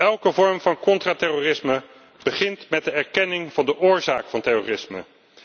Elke vorm van contra terrorisme begint met de erkenning van de oorzaak van terrorisme.